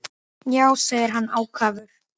Já, segir hann ákafur.